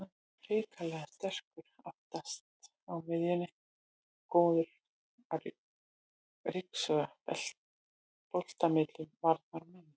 Hrikalega sterkur aftast á miðjunni og góður að ryksuga bolta milli varnar og miðju.